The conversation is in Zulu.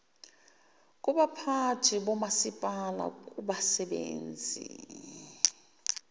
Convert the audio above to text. kubaphathi bomasipala kubasebenzi